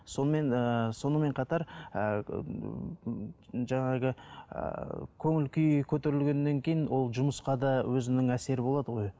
сонымен ыыы сонымен қатар ыыы жаңағы ыыы көңіл күй көтерілгеннен кейін ол жұмысқа да өзінің әсері болады ғой